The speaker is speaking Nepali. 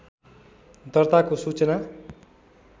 दर्ताको सूचना